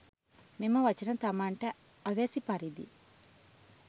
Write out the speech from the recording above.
මෙම වචන තමන්ට අවැසි පරිදි